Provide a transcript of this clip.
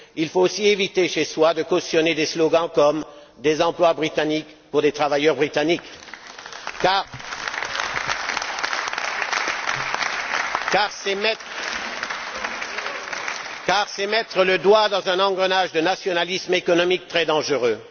Il faut aussi éviter chez soi de cautionner des slogans comme Des emplois britanniques pour des travailleurs britanniques car c'est mettre le doigt dans un engrenage de nationalisme économique très dangereux.